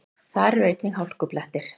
Þar eru einnig hálkublettir